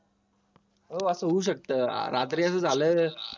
हो असं होऊ शकतं रात्री असं झालंय